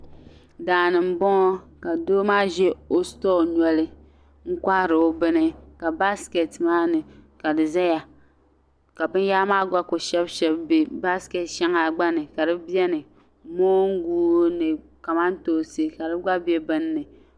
Daa ni m-bɔŋɔ ka doo maa ʒe o sitoo noli kohiri o bini ka baasiketi maa ni ka di zaya ka binyɛhiri maa gba ku shɛbi shɛbi be baasiketi shɛŋa gba ni ka di beni moongu ni kamantoonsi ka di gba be din ni.